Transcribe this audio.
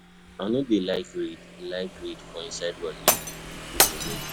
I no dey like read like read for inside bus if pipo dey make noise.